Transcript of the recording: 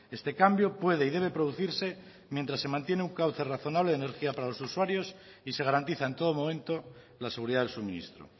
este cambio puede y debe producirse mientras se mantiene un cauce razonable de energía para los usuarios y se garantiza en todo momento la seguridad del suministro